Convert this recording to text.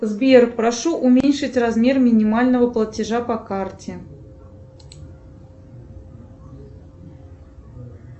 сбер прошу уменьшить размер минимального платежа по карте